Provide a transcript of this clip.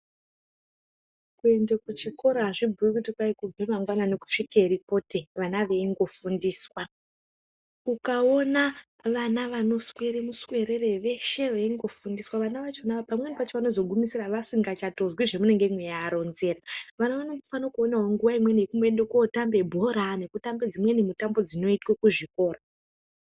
Kuende kuchikora azvibhuyi kuti kwai kubve mangwanani kusvike ripote vana veingofundiswa, ukaona vana vanoswera muswerere veshe veingoofundiswa vana vachona pamweni pachona vanotopedzisira vasingachatozwi zvamunenge mweiaronzera vana vanofanire kuone nguwa imweni yekuwotambe bhora, nekutambe dzimweni mitambo dzinoitwe kuchikora.